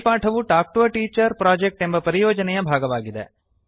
ಈ ಪಾಠವು talk to a teacher project ಎಂಬ ಪರಿಯೋಜನೆಯ ಭಾಗವಾಗಿದೆ